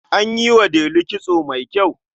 An yi wa Delu kitso mai kyau.